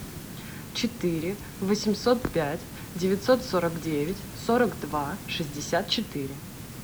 четыре восемьсот пять девятьсот сорок девять сорок два шестьдесят четыре